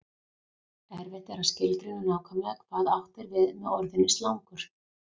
Erfitt er að skilgreina nákvæmlega hvað átt er við með orðinu slangur.